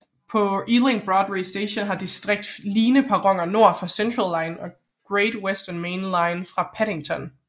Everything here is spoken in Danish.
På Ealing Broadway Station har District line perroner nord for Central line og Great Western Main Line fra Paddington